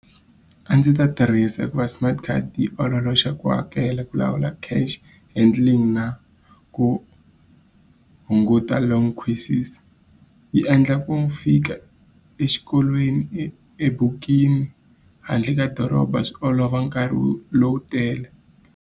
A ndzi ta tirhisa hikuva smart card yi ololoxa ku hakela, ku lawula cash handling, na ku hunguta . Yi endla ku fika exikolweni handle ka doroba swi olova nkarhi lowu tele.